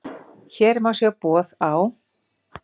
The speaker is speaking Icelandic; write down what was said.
Hér má sjá boð á